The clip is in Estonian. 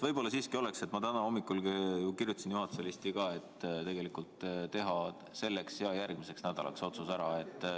Võib-olla siiski oleks tark – ma täna hommikul kirjutasin selle juhatuse listi ka – teha see otsus selleks ja järgmiseks nädalaks.